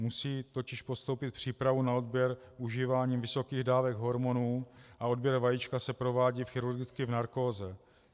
Musí totiž podstoupit přípravu na odběr užívání vysokých dávek hormonů a odběr vajíčka se provádí chirurgicky v narkóze.